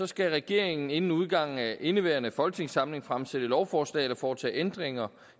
skal regeringen inden udgangen af indeværende folketingssamling fremsætte lovforslag eller foretage ændringer